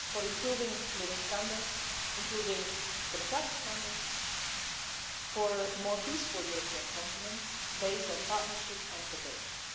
It's for improving living standards, including democratic standards, for a more peaceful European continent based on partnership and cooperation.